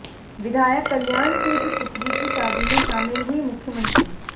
विधायक कल्याण सिंह की पुत्री की शादी में शामिल हुईं मुख्यमंत्री